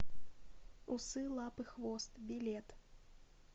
усы лапы хвост билет